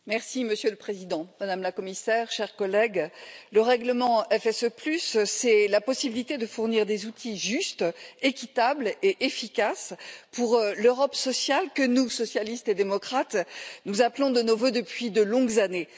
Monsieur le Président, Madame la Commissaire, chers collègues, le règlement FSE, c'est la possibilité de fournir des outils justes, équitables et efficaces pour l'Europe sociale que nous, socialistes et démocrates, appelons de nos vœux depuis de longues années.